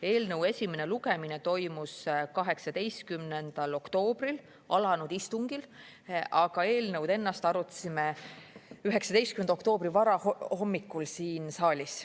Eelnõu esimene lugemine toimus 18. oktoobril alanud istungil, aga eelnõu ennast arutasime 19. oktoobri varahommikul siin saalis.